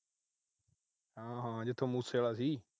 ਹੂੰ। ਹੂੰ। ਜਿੱਥੋਂ ਮੂਸੇ ਆਲਾ ਸੀ।